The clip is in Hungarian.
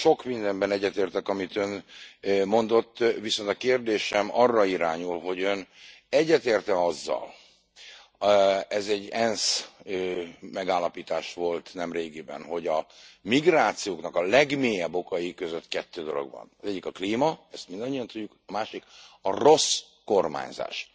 Sok mindenben egyetértek, azzal amit Ön mondott, viszont a kérdésem arra irányul, hogy Ön egyetért e azzal ez egy ENSZ megállapítás volt nemrégiben hogy a migrációknak a legmélyebb okai között kettő dolog van az egyik a klíma, ezt mindannyian tudjuk, a másik a rossz kormányzás.